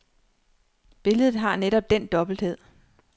Billedet har netop den dobbelthed.